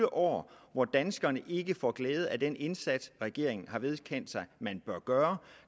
år hvor danskerne ikke får glæde af den indsats regeringen har vedkendt sig at man bør gøre